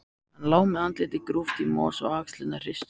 Hann lá með andlitið grúft í mosa og axlirnar hristust.